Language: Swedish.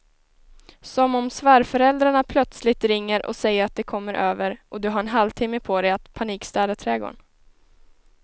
Som om svärföräldrarna plötsligt ringer och säger att de kommer över och du har en halvtimme på dig att panikstäda trädgården.